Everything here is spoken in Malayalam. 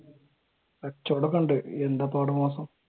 കച്ചവടം ഒക്കെ ഉണ്ട് എന്താ ഇപ്പ അവിടെ മോശം.